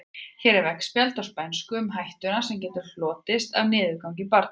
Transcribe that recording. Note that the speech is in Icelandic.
Hér er veggspjald á spænsku um hættuna sem getur hlotist af niðurgangi barna.